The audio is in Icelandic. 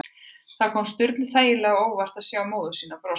Það kom Sturlu þægilega á óvart að sjá móður sína brosa.